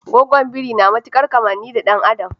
Gwaggon biri na matukar kammani da dan adam.